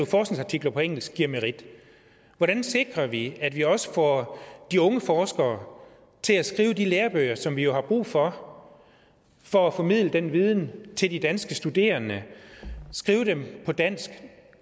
forskningsartikler på engelsk giver merit hvordan sikrer vi at vi også får de unge forskere til at skrive de lærebøger som vi jo har brug for for at formidle den viden til de danske studerende skrive dem på dansk